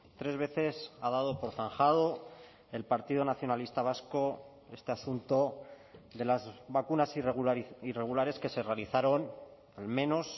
tres veces ha dado por zanjado el partido nacionalista vasco este asunto de las vacunas irregulares que se realizaron al menos